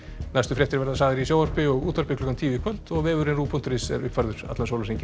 næstu fréttir verða sagðar í sjónvarpi og útvarpi klukkan tíu í kvöld og vefurinn ruv punktur is er uppfærður allan sólarhringinn